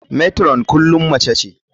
Matron kullum mace ce.